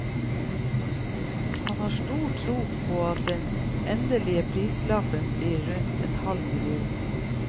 Han har stor tro på at den endelige prislappen blir på rundt en halv million.